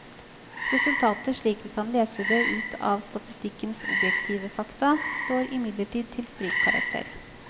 Resultatet slik vi kan lese det ut av statistikkens objektive fakta, står imidlertid til strykkarakter.